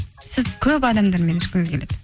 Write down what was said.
сіз көп адамдармен ішкіңіз келеді